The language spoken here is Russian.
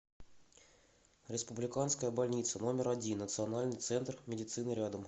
республиканская больница номер один национальный центр медицины рядом